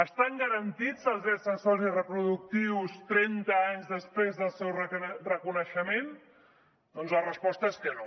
estan garantits els drets sexuals i reproductius trenta anys després del seu reconeixement doncs la resposta és que no